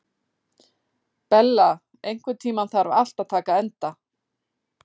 Bella, einhvern tímann þarf allt að taka enda.